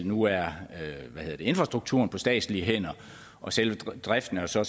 nu er infrastrukturen på statslige hænder og selve driften er så